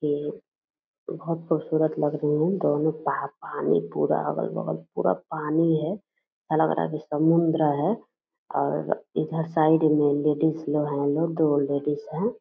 ये बहोत खूबसूरत लग रही है दोनों पा पानी पूरा अगल बगल पूरा पानी है अलग-अलग समुन्द्र है और इधर साइड में लेडीज लो है लोग दो लेडीज हैं ।